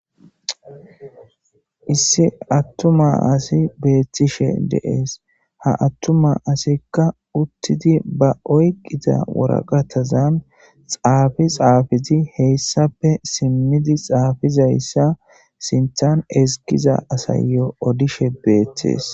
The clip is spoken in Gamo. Issi atuma asi beetishe de'ees. Ha attuma asika uttidi ba oykida waraqateza xaafi xaafidi hessape simmidi xaafizaysa sinthan ezgiza asayo odoshe beetees.